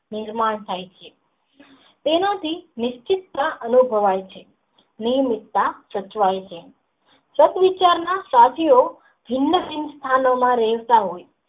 મન માં થાય છે તેમાંથી નિશ્ચિતા અનુભવાય છે. નીવૃતા ચંચળાય છે. પદ વિચાર ના ચાચી ઓ હિમતીંન સ્થાનો માં વહેંચાય છે.